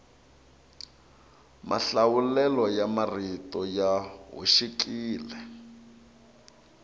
mahlawulelo ya marito ya hoxekile